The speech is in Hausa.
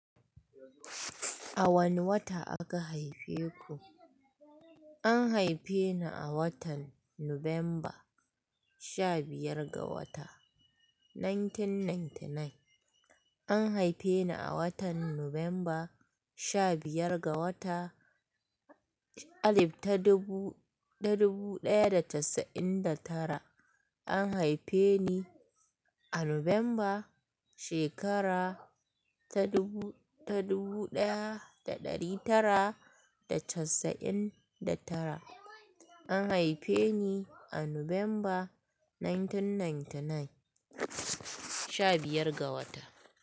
A wane wata aka haife ku? An haife ni a watan Nuwamba sha biyar ga wata 1999. An haife ni a watan Nuwamba 15 ga wata 1999. An haife ni a Nuwamba shekara 1999. An haife ni a Nuwamba 1999, 15 ga wata.